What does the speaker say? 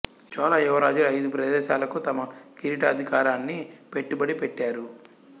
చోళ యువరాజులు ఐదు ప్రదేశాలుకు తమ కిరీటాధికారాన్ని పెట్టుబడి పెట్టారు